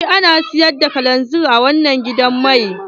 Eh ana siyar da kalanzir a wanan gidan mai.